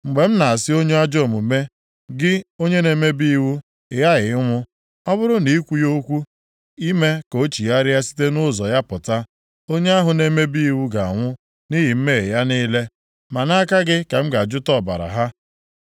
Mgbe m na-asị onye ajọ omume, gị onye na-emebi iwu, ị ghaghị ịnwụ! Ọ bụrụ na ị kwughị okwu, ime ka o chigharịa site nʼụzọ ya pụta, onye ahụ na-emebi iwu ga-anwụ nʼihi mmehie ya niile, ma nʼaka gị ka m ga-ajụta ọbara ha.